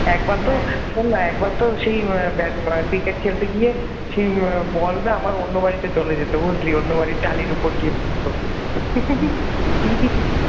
একবার তো শোন না একবার তো সেই ব্যাট ক্রিকেট খেলতে গিয়ে বল না আমার অন্য বাড়িতে চলে যেত বুঝলি অন্য বাড়ির টালির উপরে গিয়ে পড়তো